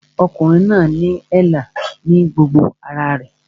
Ọkùnrin náà ní èélá ní gbogbo ara rẹ̀